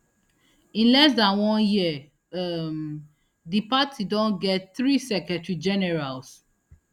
in less dan one year um di party don get three secretary generals